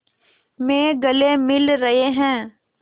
में गले मिल रहे हैं